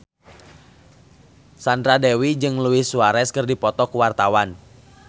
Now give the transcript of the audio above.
Sandra Dewi jeung Luis Suarez keur dipoto ku wartawan